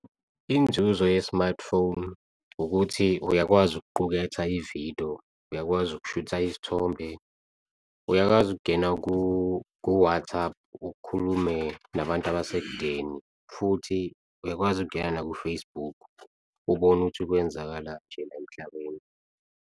Inzuzo ye-smartphone ukuthi uyakwazi ukuquketha ividiyo, uyakwazi ukushutha isithombe, uyakwazi ukungena ku-WhatsApp ukhulume nabantu abasekudeni, futhi uyakwazi ukungena naku-Facebook ubone ukuthi kwenzakala nje la emhlabeni.